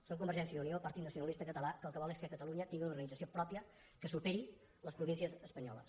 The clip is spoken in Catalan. som convergència i unió partit nacionalista català que el que vol és que catalunya tingui una organització pròpia que superi les províncies espanyoles